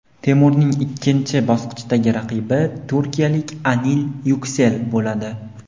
Temurning ikkinchi bosqichdagi raqibi turkiyalik Anil Yuksel bo‘ladi.